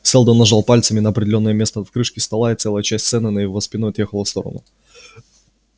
сэлдон нажал пальцем на определённое место в крышке стола и целая часть стены на его спину отъехала в сторону